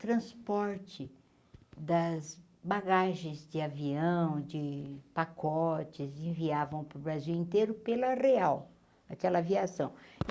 transporte das bagagens de avião, de pacotes, enviavam para o Brasil inteiro pela real, aquela aviação.